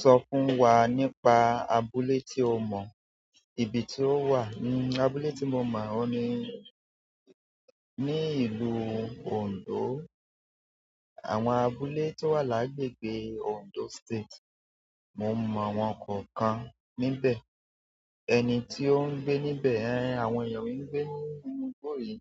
Sọ fún wa nípa abúlé tí o mọ̀, ibi tí ó wà. Abúlé tí mo mọ̀ òun ní, ní ìlú Òǹdó. Àwọn abúlé tó wà lágbègbè Ondo State, mo mọ àwọn kọ̀ọ̀kan níbẹ̀. Ẹni tí ó ń gbé níbẹ̀, àwọn èèyàn mi ń gbé ní inú igbó yìí.